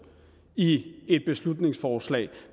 i et beslutningsforslag